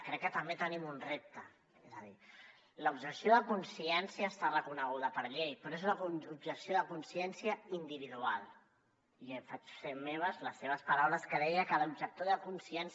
crec que també tenim un repte és a dir l’objecció de consciència està reconeguda per llei però és una objecció de consciència individual i em faig meves les seves paraules que deia que l’objector de consciència